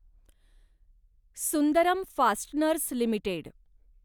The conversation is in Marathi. Sundaram Fasteners limited